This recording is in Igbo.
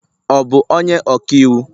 ọ bu onye ọka iwu?